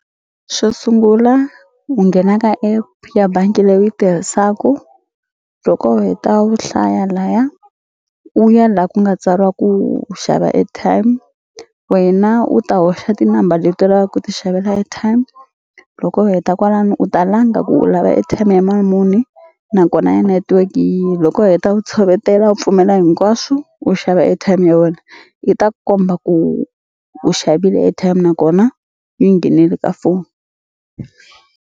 Xo sungula u nghena ka app ya bangi leyi u yi tirhisaku loko u heta u hlaya laya u ya la ku nga tsariwa ku xava airtime wena u ta hoxa tinambara leti lavaka ku ti xavela airtime loko u heta kwalano u ta langa ku u lava airtime ya mali muni nakona ya network yi loko u heta u tshovetela u pfumela hinkwaswo u xava airtime ya wena yi ta komba ku u xavile airtime nakona yi nghenile ka foni.